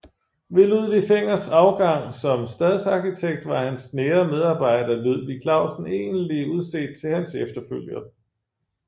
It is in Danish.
Ved Ludvig Fengers afgang som stadsarkitekt var hans nære medarbejder Ludvig Clausen egentlig udset til hans efterfølger